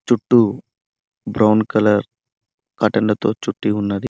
చుట్టూ brown colour కర్టన్లతో చుట్టి ఉన్నది.